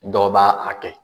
Dɔw b'a a kɛ